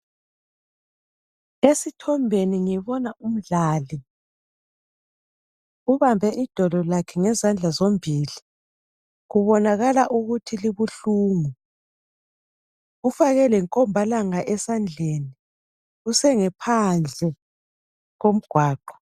Esithombeni kulomdlali obambe idolo lakhe ngezandla zombili kubonakala ukuthi libuhlungu ufake lenkombalanga esandleni usengaphandle komgwaqo.